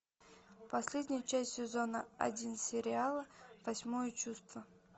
последняя часть сезона один сериала восьмое чувство